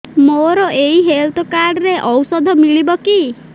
ମୋର ଏଇ health card ରେ ଔଷଧ ମିଳିବ କି